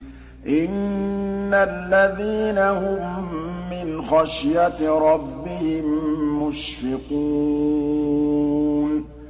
إِنَّ الَّذِينَ هُم مِّنْ خَشْيَةِ رَبِّهِم مُّشْفِقُونَ